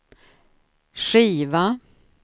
skiva